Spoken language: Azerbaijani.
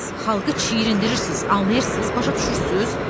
Xalqı çirindirirsiz, anlıyırsız, başa düşürsüz?